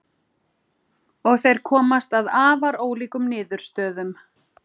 Og þeir komast að afar ólíkum niðurstöðum.